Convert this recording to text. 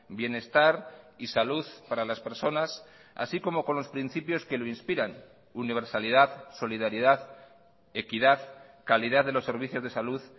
bienestar y salud para las personas así como con los principios que lo inspiran universalidad solidaridad equidad calidad de los servicios de salud